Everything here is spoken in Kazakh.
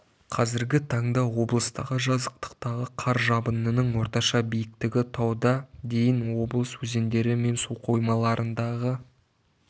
қазіргі таңда облыстағы жазықтықтағы қар жабынының орташа биіктігі тауда дейін облыс өзендері мен суқоймаларындағы